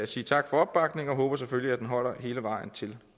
sige tak for opbakningen og jeg håber selvfølgelig at den holder hele vejen til